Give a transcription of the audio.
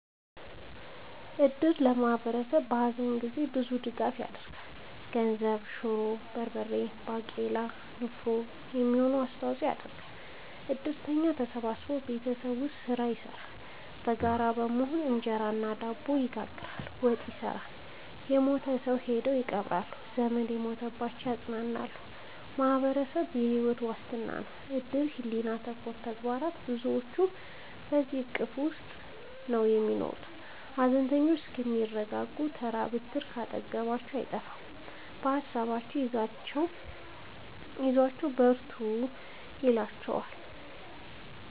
እድር ለማህበረሰቡ በሀዘን ጊዜ ብዙ ድጋፍ ይደረጋል። የገንዘብ፣ የሹሮ፣ የበርበሬ ባቄላ ለንፍሮ የሚሆን አስተዋጽኦ ያደርጋሉ። እድርተኛው ተሰብስቦ ቤት ውስጥ ስራ ይሰራሉ በጋራ በመሆን እንጀራ እና ድብ ይጋግራሉ፣ ወጥ ይሰራሉ እና የሞተውን ሰው ሄደው ይቀብራሉ። ዘመድ የሞተባቸውን ያፅናናሉ በማህበረሰቡ የሕይወት ዋስትና ነው እድር ሕሊና ተኮር ተግባር ብዙዎች በዚሕ እቅፍ ውስጥ ነው የሚኖሩት ሀዘነተኞቹ እስከሚረጋጉ ተራ ብትር ካጠገባቸው አይጠፍም በሀሳብ አይዟችሁ በርቱ ይሏቸዋል።